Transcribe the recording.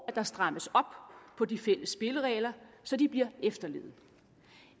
at der strammes op på de fælles spilleregler så de bliver efterlevet